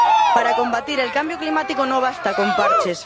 Para combatir el cambio climático no basta con parches.